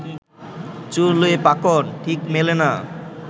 চুলে পাকন, ঠিক মেলে না